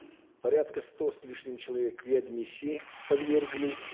порядка ста с лишним человек реадмиссии подвергли